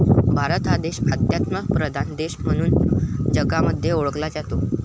भारत देश हा आध्यात्मप्रधान देश म्हणून जगामध्ये ओळखला जातो.